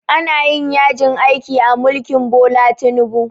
Ana yajin aiki a mulkin Bola Tinubu